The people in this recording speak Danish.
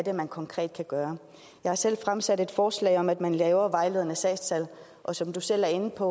er man konkret kan gøre jeg har selv fremsat et forslag om at man laver vejledende sagstal og som du selv er inde på